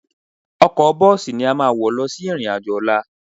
Ọkọ̀ bọ́ọ̀sì ni a máa wọ̀ lọ sí ìrìn-àjò ọ̀la